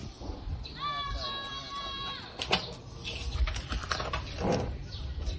unyaka nonyaka leliphi